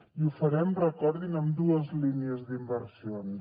i ho farem recordin amb dues línies d’inversions